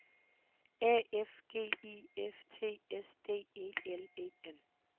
A F G I F T S D E L E N